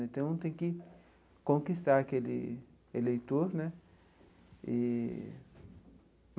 Então, tem que conquistar aquele eleitor né eee.